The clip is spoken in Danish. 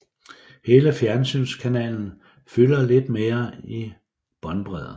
Hele fjernsynskanalen fylder lidt mere i båndbredde